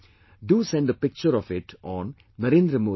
Do send a picture of it on 'Narendra Modi app